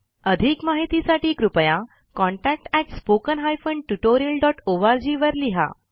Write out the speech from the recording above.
अधिक माहितीसाठी कृपया contactspoken tutorialorg वर लिहा